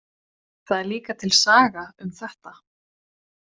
Það er líka til saga um þetta.